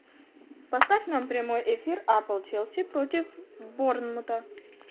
поставь нам прямой эфир апл челси против борнмута